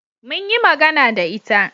mun yi magana da ita